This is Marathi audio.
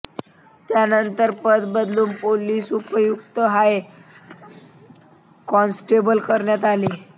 त्यानंतर पद बदलून पोलीस उपायुक्त आणि हाय कॉन्स्टेबल करण्यात आले